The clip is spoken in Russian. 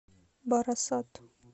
барасат